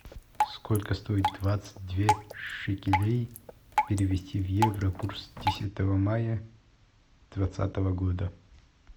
сколько стоит двадцать две шекелей перевести в евро курс десятого мая двадцатого года